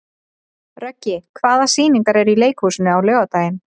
Röggi, hvaða sýningar eru í leikhúsinu á laugardaginn?